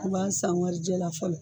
U b'a san warijɛ la fɔlɔ